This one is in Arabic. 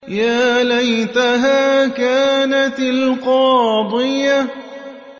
يَا لَيْتَهَا كَانَتِ الْقَاضِيَةَ